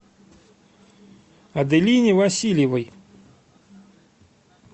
аделине васильевой